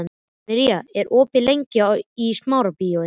Míra, hvað er opið lengi í Smárabíói?